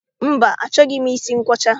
Mba, achọghị m isi nkwọcha